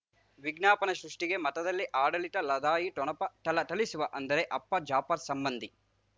ವಿಜ್ಞಾಪನೆ ಸೃಷ್ಟಿಗೆ ಮಠದಲ್ಲಿ ಆಡಳಿತ ಲದಾಯಿ ಠೊಣಪ ಥಳಥಳಿಸುವ ಅಂದರೆ ಅಪ್ಪ ಜಾಫರ್ ಸಂಬಂಧಿ